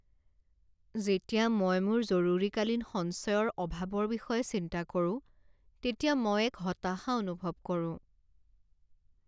যেতিয়া মই মোৰ জৰুৰীকালীন সঞ্চয়ৰ অভাৱৰ বিষয়ে চিন্তা কৰোঁ তেতিয়া মই এক হতাশা অনুভৱ কৰোঁ।